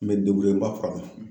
N be n ba furakɛ.